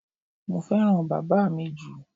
Mo fẹ́ràn bàbá mi jù.